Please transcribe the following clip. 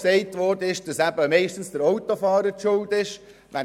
Der Autofahrer sei meistens schuld, ist gesagt worden.